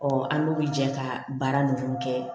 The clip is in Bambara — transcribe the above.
an n'olu jɛ ka baara ninnu kɛ